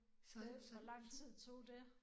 Hvor lang tid tog det?